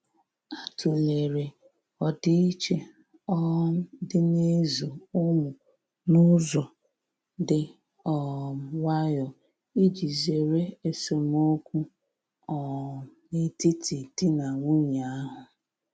A tụ̀lere ọdiiche um dị n'ịzụ ụmụ n'ụzọ dị um nwayò iji zere esemokwu um n'etiti di na nwunye ahu.